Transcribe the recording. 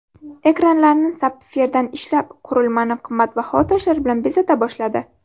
Ekranlarni sapfirdan ishlab, qurilmani qimmatbaho toshlar bilan bezata boshladi.